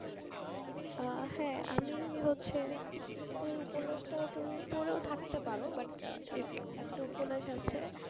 আহ হ্যাঁ আমি হচ্ছে এই উপন্যাসটা তুমি পড়ো থাকতে পারো but একটা উপন্যাস আছে